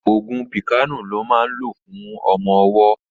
Ògùn píkàànù lọ́ máa ń lò fún ọmọ ọwọ́